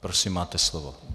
Prosím, máte slovo.